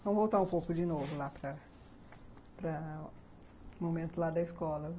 Vamos voltar um pouco de novo lá para para o momento lá da escola.